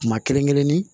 Kuma kelen kelennin